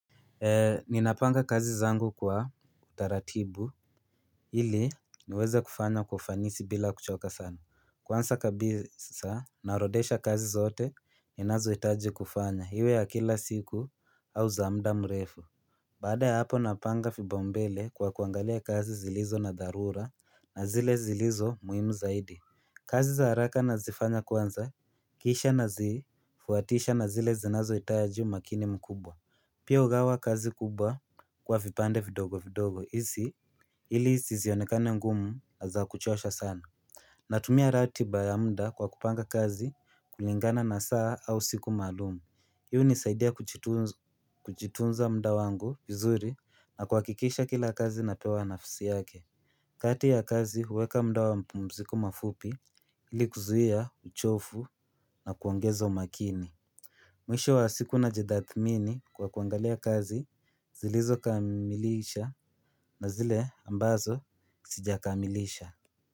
Ninapanga kazi zangu kwa utaratibu ili niweze kufanya kwa ufanisi bila kuchoka sana. Kwansa kabisa narodesha kazi zote ninazohitaji kufanya hiwe ya kila siku au zamda mrefu Baada ya hapo napanga fibaumbele kwa kuangalia kazi zilizo na dharura na zile zilizo muhimu zaidi kazi za haraka na zifanya kwanza kisha na zifuatisha na zile zinazohitaji umakini mkubwa Pia ugawa kazi kubwa kwa vipande vidogo vidogo hizi ili sizionekane ngumu na za kuchosha sana Natumia ratiba ya muda kwa kupanga kazi kulingana na saa au siku maalum. Hii hunisaidia kuchitunza muda wangu vizuri na kuhakikisha kila kazi napewa nafsi yake kati ya kazi huweka muda wa mapumziko mafupi ili kuzuia uchofu na kuongeza umakini Mwisho wa siku na jidathimini kwa kuangalia kazi zilizo kamilisha na zile ambazo sijakaamilisha.